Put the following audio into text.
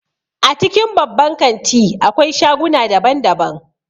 A cikin babban kanti akwai shaguna daban daban